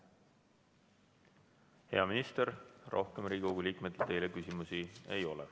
Hea minister, rohkem Riigikogu liikmetel teile küsimusi ei ole.